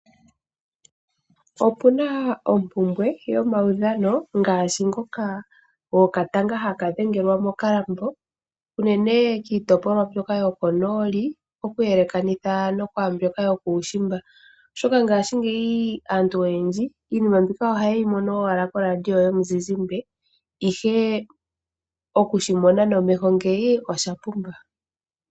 Opuna ompumbwe yomaudhano ngaashi ngoka gokatanga haka dhengelwa mokalambo, unene kiitopolwa yokonooli okuyelekanitha naambyoka yokuushimba, oshoka ngashingeyi aantu oyendji iinima mbika oha yeyi mono owala ko radio yomuzizimbe, ihe oku shimona nomeho ngeyi osha pumba.